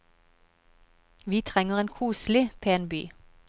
Vi trenger en koselig, pen by.